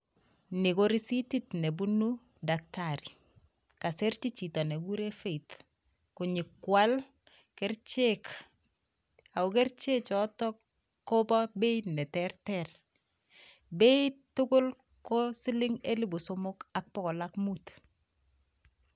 Ni ko risitit nebunu dakitari. Kasirchin chito negiguren Faith konyokwal kerichek ago kerichek choton kobo beit neterter. Beit tugul ko siling elbu somok ak bokol ak mut.